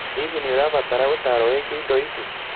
Hihi nĩ ũrabatara ũtaaro wĩgiĩ indo icio?